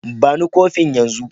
Ba ni kofin yanzun.